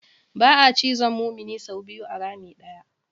Ba'a cizon mumini sau biyu a rami ɗaya.